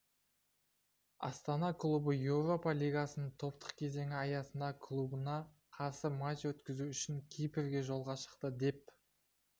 астана клубы еуропа лигасының топтық кезеңі аясында клубына қарсы матч өткізу үшін кипрге жолға шықты деп